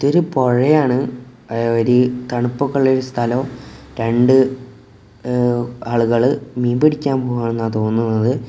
ഇതൊരു പൊഴയാണ് അ വര് തണുപ്പൊക്കെ ഇള്ള ഒരു സ്ഥലം രണ്ട് ഏവ് ആളൂകള് മീൻ പിടിക്കാൻ പോവുവാണ ന്നാ തോന്നുന്നത്.